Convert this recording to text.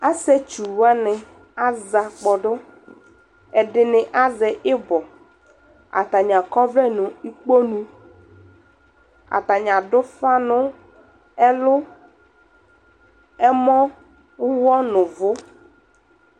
asii ɛtsʋ wani aza kpɔdʋ, ɛdini azɛ ibɔ, atani akɔ ɔvlɛ nʋ ikpɔnʋ, atani adʋ ʋƒa nʋ ɛlʋ, ɛmɔ, ʋwɔ nʋ ʋvʋ